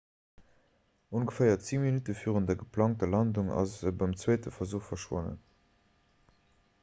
ongeféier 10 minutte virun der geplangter landung ass e beim zweete versuch verschwonnen